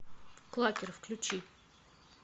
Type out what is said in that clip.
клакер включи